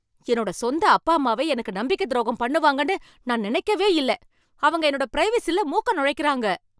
என்னோட சொந்த அப்பா அம்மாவே எனக்கு நம்பிக்கை துரோகம் பண்ணுவாங்கனு நான் நினைக்கவே இல்ல. அவங்க என்னோட பிரைவசில மூக்கை நுழைக்கறாங்க.